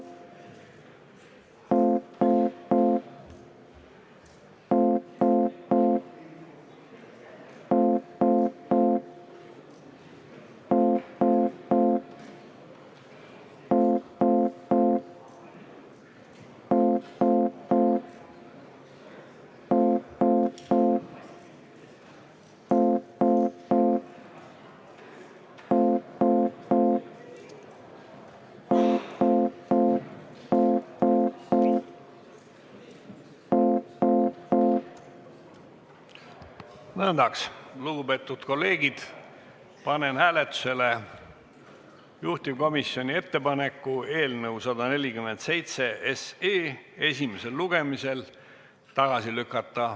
Nõndaks, lugupeetud kolleegid, panen hääletusele juhtivkomisjoni ettepaneku eelnõu 147 esimesel lugemisel tagasi lükata.